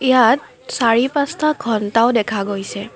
ইয়াত চাৰি পাঁচটা ঘণ্টাও দেখা গৈছে।